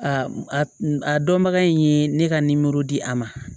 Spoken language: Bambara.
A a dɔnbaga in ye ne ka nimoro di a ma